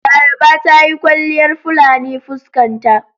Laraba ta yi kwalliyar fulani fuskan ta..